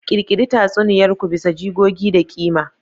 Ƙirƙiri tatsuniyar ku bisa jigogi da ƙima.